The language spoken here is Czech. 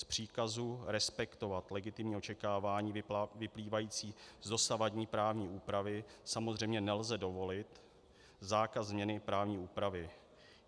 Z příkazu respektovat legitimní očekávání vyplývající z dosavadní právní úpravy samozřejmě nelze dovolit zákaz změny právní úpravy.